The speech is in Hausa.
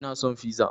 Ina son fiza